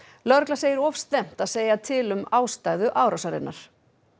lögregla segir of snemmt að segja til um ástæðu árásarinnar